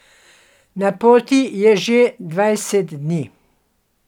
Na poti je že dvajset dni.